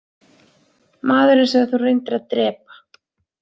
Maðurinn sem þú reyndir að drepa